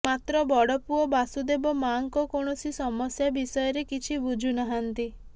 ମାତ୍ର ବଡପୁଅ ବାସୁଦେବ ମାଆଙ୍କ କୌଣସି ସମସ୍ୟା ବିଷୟରେ କିଛି ବୁଝୁନାହାନ୍ତି